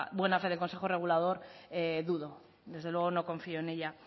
buena fe del consejo regulador dudo desde luego no confío en ella